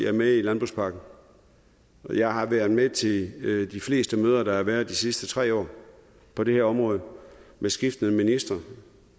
er med i landbrugspakken jeg har været med til de fleste møder der har været de sidste tre år på det her område med skiftende ministre